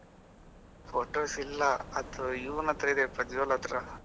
Photos ಇಲ್ಲ ಅದು ಇವ್ನತ್ರ ಇದೆ ಪ್ರಜ್ವಲ್ ಹತ್ರ.